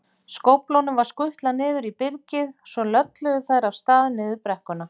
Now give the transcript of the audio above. Skóflunum var skutlað niður í byrgið, svo lölluðu þær af stað niður brekkuna.